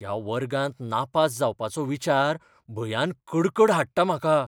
ह्या वर्गांत नापास जावपाचो विचार भंयान कडकड हाडटा म्हाका.